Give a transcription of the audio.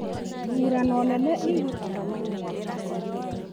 Ithurano nene igũtabanio mwaka ũyũ